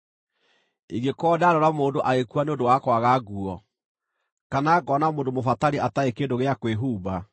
ingĩkorwo ndanoona mũndũ agĩkua nĩ ũndũ wa kwaga nguo, kana ngoona mũndũ mũbatari atarĩ kĩndũ gĩa kwĩhumba,